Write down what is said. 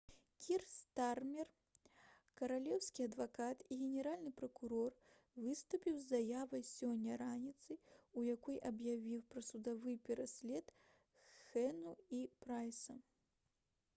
кір стармер каралеўскі адвакат і генеральны пракурор выступіў з заявай сёння раніцай у якой аб'явіў пра судовы пераслед хунэ і прайса